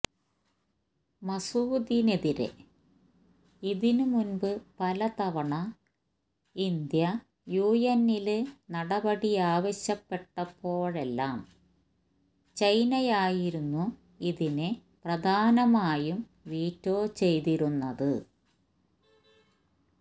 മസൂദിനെതിരെ ഇതിന് മുമ്പ് പല തവണ ഇന്ത്യ യുഎന്നില് നടപടിയാവശ്യപ്പെട്ടപ്പോഴെല്ലാം ചൈനയായിരുന്നു ഇതിനെ പ്രധാനമായും വീറ്റോ ചെയ്തിരുന്നത്